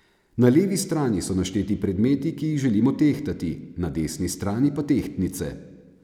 Na levi strani so našteti predmeti, ki jih želimo tehtati, na desni strani pa tehtnice.